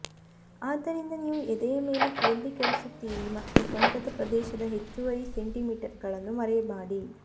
ಆದ್ದರಿಂದ ನೀವು ಎದೆಯ ಮೇಲೆ ಕೇಂದ್ರೀಕರಿಸುತ್ತೀರಿ ಮತ್ತು ಸೊಂಟದ ಪ್ರದೇಶದ ಹೆಚ್ಚುವರಿ ಸೆಂಟಿಮೀಟರ್ಗಳನ್ನು ಮರೆಮಾಡಿ